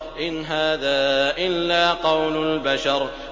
إِنْ هَٰذَا إِلَّا قَوْلُ الْبَشَرِ